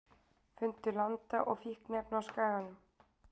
Fundu landa og fíkniefni á Skaganum